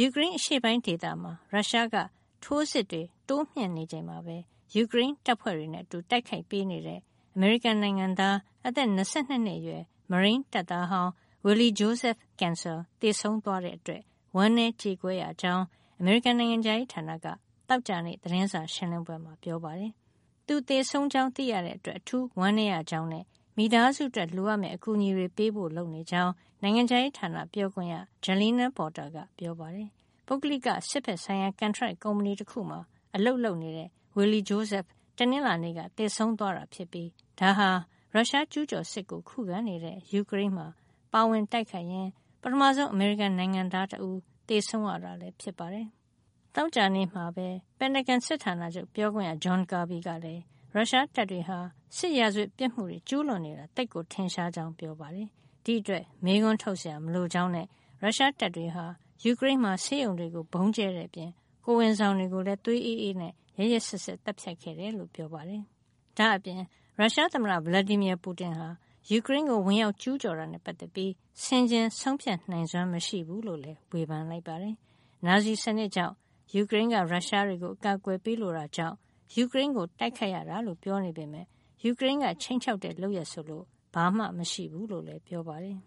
ူကရိန်းအရှေပိုင်းဒေသမှာ ရုရှားက ထိုးစစ်တွေ တိုးမြှင့်လာနေချိန်မှာပဲ၊ ယူကရိန်းတပ်ဖွဲ့တွေနဲ့အတူ တိုက်ခိုက်ပေးနေတဲ့ အမေရိကန်နိုင်ငံသား အသက် ၂၂ နှစ်အရွယ် မရိန်းတပ်သားဟောင်း Willy Joseph Cancel သေဆုံးသွားတဲ့ အတွက် ဝမ်းနည်းကြေကွဲရကြောင်း အမေရိကန်နိုင်ငံခြားရေးဌာနက သောကြာနေ့ သတင်းစာရှင်းလင်းပွဲမှာ ပြောပါတယ်။ သူသေဆုံးကြောင်း သိရတဲ့အတွက် အထူးဝမ်းနည်းရကြောင်းနဲ့ မိသားစုအတွက် လိုအပ်မယ့် အကူညီတွေ ပေးဖို့ လုပ်နေကြောင်း နိုင်ငံခြားရေးဌာနက ပြောခွင့်ရ Jalina Porter က ပြောပါတယ်။ ပုဂ္ဂလိက စစ်ဖက်ဆိုင်ရာ ကန်ထရိုက် ကုမ္ပဏီတခုမှာ အလုပ်လုပ်နေတဲ့ Willy Joseph တနင်္လာနေ့က သေဆုံးသွားတာ ဖြစ်ပြီး ဒါဟာ ရုရှားကျူးကျော်စစ်ကို ခုခံနေတဲ့ ယူကရိန်းမှာ ပါဝင်တိုက်ခိုက်ရင်း ပထမဆုံး အမေရိကန် နိုင်ငံသားတဦး သေဆုံးရတာလည်း ဖြစ်ပါတယ်။ သောကြာနေ့မှာပဲ ပင်တာဂွန် စစ်ဌာနချုပ် ပြောခွင့်ရ John Kirby ကလည်း ရုရှားတပ်တွေဟာ စစ်ရာဇဝတ်ပြစ်မှုတွေ ကျူးလွန်နေတာ သိပ်ထင်ရှားကြောင်း ပြောပါတယ်။ ဒီအတွက် မေးခွန်းထုတ်နေစရာ မလိုကြောင်းနဲ့ ရုရှားတပ်တွေဟာ ယူကရိန်းမှာ ဆေးရုံတွေကို ဗုံးကြဲခဲ့တဲ့ အပြင် ကိုယ်ဝန်ဆောင် တွေကိုလည်း သွေးအေးအေးနဲ့ ရက်ရက်စက်စက် သတ်ဖြတ်ခဲ့တယ် လို့ ပြောပါတယ်။ ဒါ့အပြင် ရုရှားသမ္မတ Vladimir Putin ဟာ ယူကရိန်းကို ဝင်ရောက်ကျူးကျော်တာနဲ့ ပတ်သက်ပြီး ဆင်ခြင်ဆုံးဖြတ်နိုင်စွမ်း မရှိဘူးလို့လည်း ဝေဖန်ပါတယ်။ နာဇီစံနစ်ကြောင့်၊ ယူကရိန်းက ရုရှားတွေကို အကာကွယ်ပေးလိုတာကြောင့် ယူကရိန်းကို တိုက်ခိုက်ရတာလို့ ပြောနေပေမဲ့ ယူကရိန်းက ခြိမ်းခြောက်တဲ့ လုပ်ရပ်ဆိုလို့ ဘာမှမရှိဘူးလို့လည်း ပြောပါတယ်